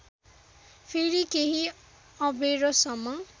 फेरि केही अबेरसम्म